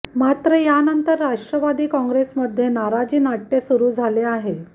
मात्र यानंतर राष्ट्रवादी काँग्रेसमध्ये नाराजी नाट्य सुरू झाले आहे